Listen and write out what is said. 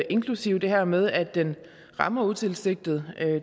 inklusive det her med at den rammer utilsigtet